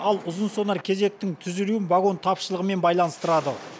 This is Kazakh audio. ал ұзын сонар кезектің түзілуін вагон тапшылығымен байланыстырады